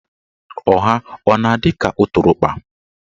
Ọha a na-adị ka ụtụrụkpa?